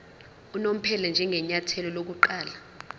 unomphela njengenyathelo lokuqala